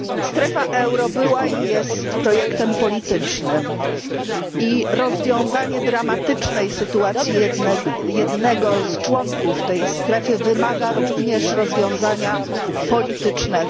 Strefa euro była i jest projektem politycznym i rozwiązanie dramatycznej sytuacji jednego z członków tej strefy wymaga również rozwiązania politycznego.